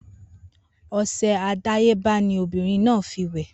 Ose àdáyébá ni ọmọbìrin náà fi wè